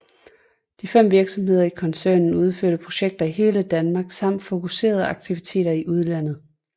De fem virksomheder i koncernen udfører projekter i hele Danmark samt fokuserede aktiviteter i udlandet